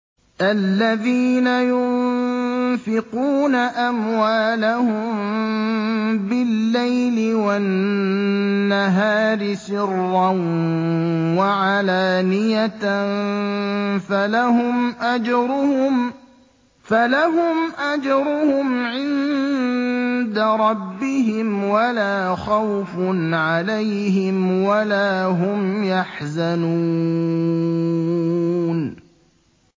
الَّذِينَ يُنفِقُونَ أَمْوَالَهُم بِاللَّيْلِ وَالنَّهَارِ سِرًّا وَعَلَانِيَةً فَلَهُمْ أَجْرُهُمْ عِندَ رَبِّهِمْ وَلَا خَوْفٌ عَلَيْهِمْ وَلَا هُمْ يَحْزَنُونَ